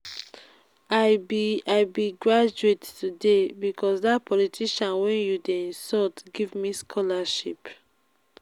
i be i be graduate today because dat politician wey you dey insult give me scholarship